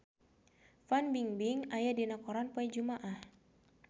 Fan Bingbing aya dina koran poe Jumaah